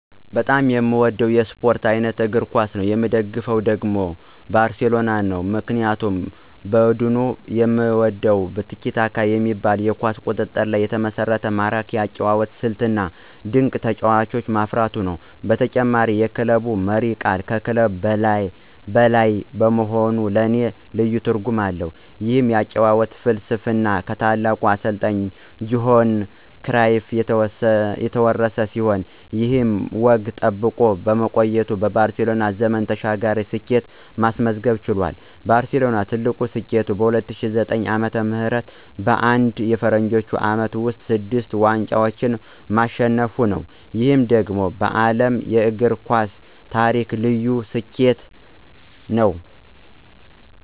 በጣም የምወደው የስፖርት አይነት እግር ኳስ ነው። የምደግፈው ቡድን ደግሞ ባርሴሎና ነው። ምክንያቱም ቡድኑን የምወደው "ቲኪ-ታካ" በሚባለው የኳስ ቁጥጥር ላይ የተመሰረተ ማራኪ የአጨዋወት ስልቱ፣ እና ድንቅ ተጫዋቾችን በማፍራቱ ነው። በተጨማሪም የክለቡ መሪ ቃል ከክለብ በላይ መሆኑ ለኔ ልዩ ትርጉም አለው። ይህ የአጨዋወት ፍልስፍና ከታላቁ አሰልጣኝ ጆሃን ክራይፍ የተወረሰ ሲሆን፣ ይህ ወግ ተጠብቆ በመቆየቱ ባርሴሎና ዘመን ተሻጋሪ ስኬትን ማስመዝገብ ችሏል። ባርሴሎና ትልቁ ስኬቱ በ2009 ዓ.ም. በአንድ የፈረንጆቹ ዓመት ውስጥ ስድስቱን ዋንጫዎች ማሸነፉ ነው። ይህ ደግሞ በዓለም የእግር ኳስ ታሪክ ልዩ ስኬት ነው።